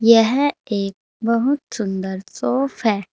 यह एक बहुत सुंदर सोफ है।